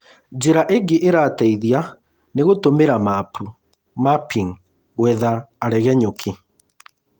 Njĩra ingĩ ĩrateithia nĩ gũtũmĩra mapu ‘mapping’’ Gwetha aregenyũki